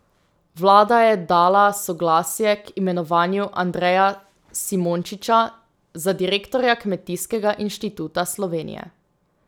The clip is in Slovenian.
Vlada je dala soglasje k imenovanju Andreja Simončiča za direktorja Kmetijskega inštituta Slovenije.